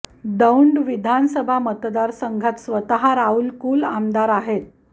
दौंड विधानसभा मतदारसंघात स्वतः राहुल कुल आमदार आहेत